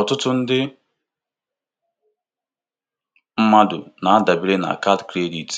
Ọtụtụ ndị mmadụ na-adabere na kaadị kredit